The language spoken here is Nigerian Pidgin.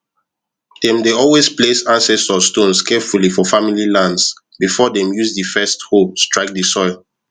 them dey always place ancestor stones carefully for family lands before them use the first hoe strike the soil